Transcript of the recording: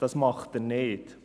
Das tut er nicht.